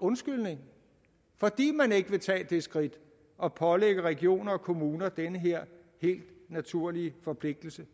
undskyldning fordi man ikke vil tage det skridt at pålægge regioner og kommuner den her helt naturlige forpligtelse